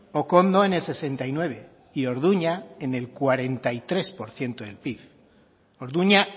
okondo en el sesenta y nueve y orduña en el cuarenta y tres por ciento del pib orduña